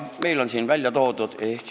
Meil on siin ära toodud ka loetelu.